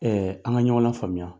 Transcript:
an ka ɲɔgɔn lafaamuya.